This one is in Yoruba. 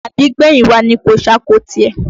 Àbígbẹ̀yìn wa ni kò ṣáko tirẹ̀